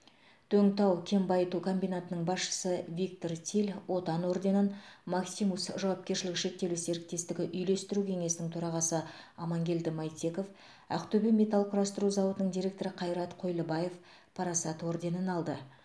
дөң тау кен байыту комбинатының басшысы виктор тиль отан орденін максимус жауапкершілігі шектеулі серіктестігі үйлестіру кеңесінің төрағасы амангелді майтеков ақтөбе металл құрастыру зауытының директоры қайрат қойлыбаев парасат орденін алды